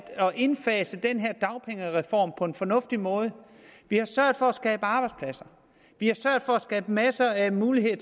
indfase den her dagpengereform på en fornuftig måde vi har sørget for at skabe arbejdspladser vi har sørget for at skabe masser af muligheder